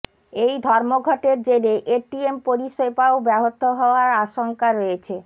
এই ধর্মঘটের জেরে এটিএম পরিষেবাও ব্যহত হওয়ার আশঙ্কা রয়েছে